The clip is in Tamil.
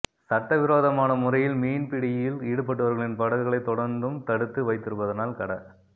சட்டவிரோதமான முறையில் மீன்பிடியில் ஈடுபட்டவர்களின் படகுகளைத் தொடர்ந்தும் தடுத்து வைத்திருப்பதனால் கட